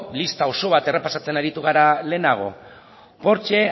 lista oso bat errepasatzen aritu gara lehenago porsche